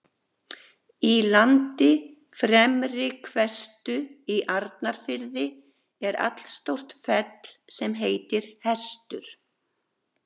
Í landi Fremri-Hvestu í Arnarfirði er allstórt fell sem heitir Hestur.